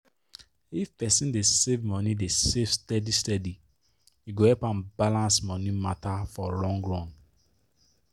if person dey save person dey save steady steady e go help am balance money matter for long run.